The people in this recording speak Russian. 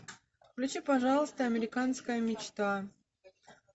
включи пожалуйста американская мечта